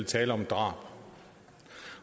tale om drab